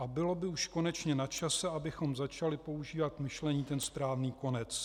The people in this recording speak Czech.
A bylo by už konečně načase, abychom začali používat k myšlení ten správný konec.